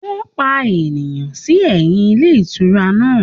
Wọ́n pa ènìyàn sí ẹ̀yìn ilé ìtura náà